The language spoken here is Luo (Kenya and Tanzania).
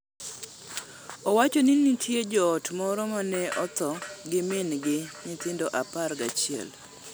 Owacho ni nitie joot moro ma ne otho gi min gi nyithindo apar gachiel.